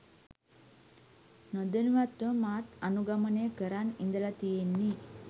නොදැනුවත්වම මාත් අනුගමනය කරන් ඉඳල තියෙන්නෙ